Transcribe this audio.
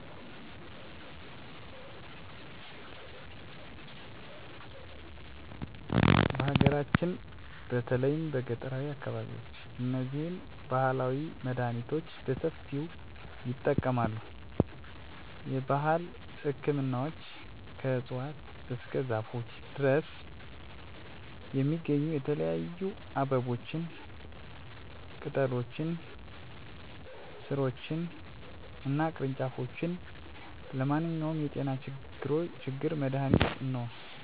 በሀገራችን በተለይም በገጠራዊ አካባቢዎች እነዚህን ባህላዊ መድሃኒቶች በሰፊው ይጠቀማሉ። የባህል ህክምናዎች ከእፅዋት እስከ ዛፎች ድረስ የሚገኙ የተለያዩ አበቦችን፣ ቅጠሎችን፣ ሥሮችን እና ቅርንጫፎች ለማንኛውም የጤና ችግር መድሃኒት እንዲሆኑ የሚያዘጋጁት በባለሙያ ነው። ለምሳሌ ለቀላል እብጠቶች: ለጉበት፣ ለሆድ ህመም፣ ለትኩሳት፣ ለራስ ህመም፣ ወዘተ ያገለግላሉ። ባህላዊ መድሀኒት ከዘመናዊ ህክምና ጋር ያለው ልዩነት፦ ባህላዊ መድሃኒት ለሆድ ህመም ወይም ለቀላል ትኩሳት ጊዜአዊ መፍትሄ ነው። ነገር ግን ለከባድ ወይም የሚቆይ በሽታ የዘመናዊ መድሃኒት አስፈላጊ መሆኑን አውቃለሁ። ሌላው የባህላዊ መድሃኒቶች ፈዋሽነታቸው በሳይንሳዊ መንገድ ብዙም አልተጠናም። የዘመናዊ መድሃኒቶች ግን በትክክል የተመረጡ እና የተመሳከሩ መጠኖች አሏቸው። የባህላዊ መድሃኒት አደገኛ እና መጠኑ አይታወቅም።